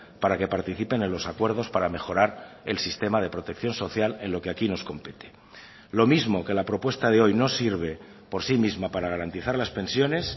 para que participen en los acuerdos para mejorar el sistema de protección social en lo que aquí nos compete lo mismo que la propuesta de hoy no sirve por sí misma para garantizar las pensiones